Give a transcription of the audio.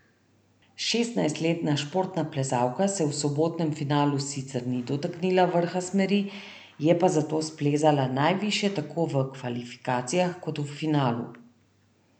Šestnajstletna športna plezalka se v sobotnem finalu sicer ni dotaknila vrha smeri, je pa zato splezala najvišje tako v kvalifikacijah kot v finalu.